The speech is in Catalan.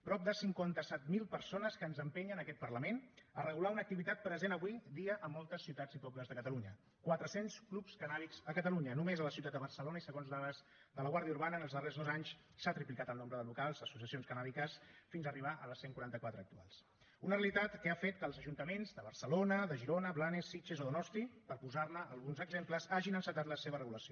prop de cinquanta set mil persones que ens empenyen aquest parlament a regular una activitat present avui dia a moltes ciutats i pobles de catalunya quatre cents clubs cannàbics a catalunya només a la ciutat de barcelona i segons dades de la guàrdia urbana en els darrers dos anys s’ha triplicat el nombre de locals d’associacions cannàbiques fins arribar als cent i quaranta quatre actuals una realitat que ha fet que els ajuntaments de barcelona de girona blanes sitges o donosti per posar ne alguns exemples hagin encetat la seva regulació